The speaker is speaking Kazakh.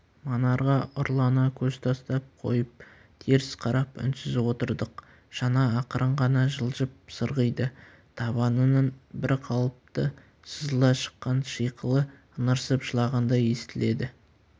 манарға ұрлана көз тастап қойып теріс қарап үнсіз отырдық шана ақырын ғана жылжып сырғиды табанының бір қалыпты сызыла шыққан шиқылы ыңырсып жылағандай естіледі